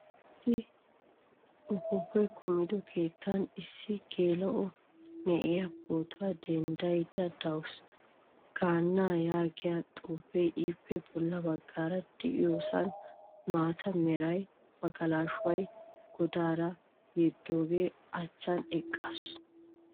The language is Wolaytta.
Issi uppupay kumido keettan issi geela'o na'iyaa pootuwaa denddayda deawusu. Gaannaa yaagiyaa xuufe ippe bolla baggaara de'iyosan maataa mera magalashuwaa godaara yedoga achchan eqqaasu.